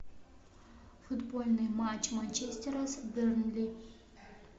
футбольный матч манчестера с бернли